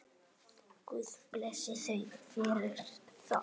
Guð blessi þau fyrir það.